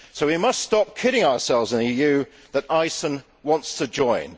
So we must stop kidding ourselves in the EU that Iceland wants to join.